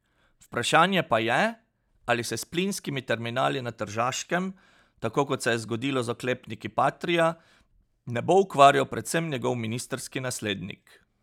Vprašanje pa je, ali se s plinskimi terminali na Tržaškem, tako kot se je zgodilo z oklepniki patria, ne bo ukvarjal predvsem njegov ministrski naslednik.